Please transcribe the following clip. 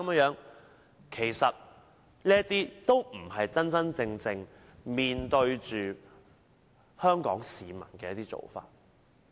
這並非真正面對香港市民的做法。